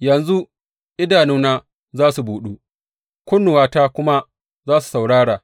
Yanzu, idanuna za su buɗu, kunnuwata kuma za su saurara